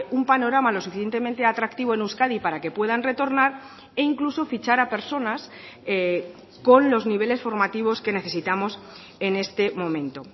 un panorama lo suficientemente atractivo en euskadi para que puedan retornar e incluso fichar a personas con los niveles formativos que necesitamos en este momento